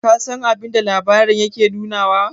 ka San abinda labarin yake nunawa?